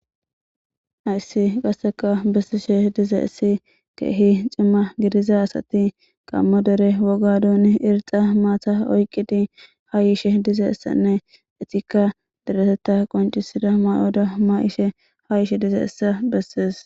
hayssi qasseka bessishe diza issi keehi cimma gidiza asati qammo dere woga duun irxa maata oyqqidi ha yishe dizeessanne etikka deretetta qoncisida may7oda ma7ishe ha ishe dize issa bessees